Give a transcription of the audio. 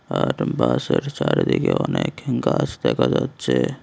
আর বাসের চারিদিকে অনেক গাছ দেখা যাচ্ছে।